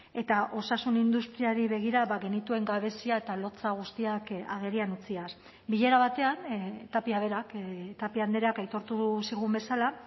eta osasun industriari begira ba genituen gabezia eta lotsa guztiak agerian utziaz bilera batean tapia berak tapia andreak aitortu zigun bezala